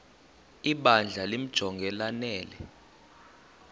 ibandla limjonge lanele